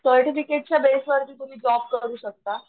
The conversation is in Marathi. सर्टिफिकेट च्या बेस वरती तुम्ही जॉब करू शकता.